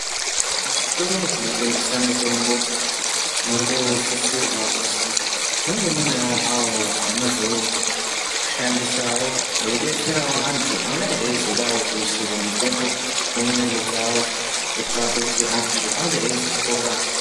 Muzvitoro zvinotengesa mitombo murikusisirwa kuzi munge munewo avo vanozoshandisawo veidetserawo antu angadayi eizodawo kuisirwa mutombo mumwiri dzawo kuitira kuti antu ange eizopora.